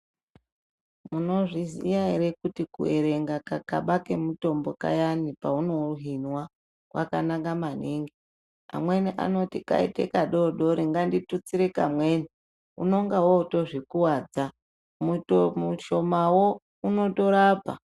Munozviziya here kuti kuwerenga kakaba kemutombo kakani paunouhinwa kwakanaka maningi? Amweni anoti kaite kadori dori nganditutsire kamweni, unonga wotozvikuwadza. Muto..mushomawo unotorapa.